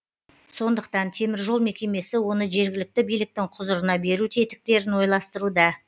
сондықтан теміржол мекемесі оны жергілікті биліктің құзырына беру тетіктерін ойластыруда